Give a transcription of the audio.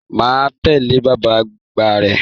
Má a tẹle bàbá àgbà rẹ.